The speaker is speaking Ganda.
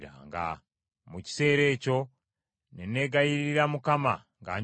Mu kiseera ekyo ne neegayirira Mukama nga njogera nti,